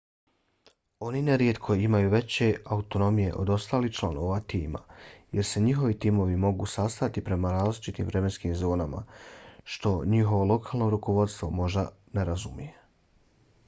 oni nerijetko imaju veću autonomiju od ostalih članova tima jer se njihovi timovi mogu sastajati prema različitim vremenskim zonama što njihovo lokalno rukovodstvo možda ne razumije